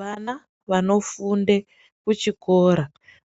Vana vanofunde kuchikora